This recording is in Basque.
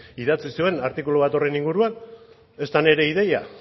idatzi zuen artikulu bat horren inguruan ez da nire ideia